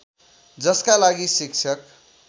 जसका लागि शिक्षक